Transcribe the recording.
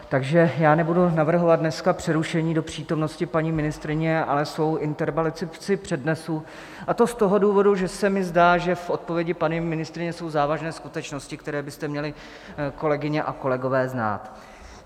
Takže já nebudu navrhovat dneska přerušení do přítomnosti paní ministryně, ale svou interpelaci přednesu, a to z toho důvodu, že se mi zdá, že v odpovědi paní ministryně jsou závažné skutečnosti, které byste měli, kolegyně a kolegové, znát.